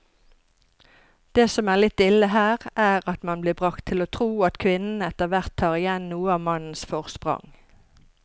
Det som er litt ille her, er at man blir bragt til å tro at kvinnene etterhvert tar igjen noe av mannens forsprang.